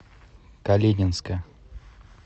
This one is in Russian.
калининска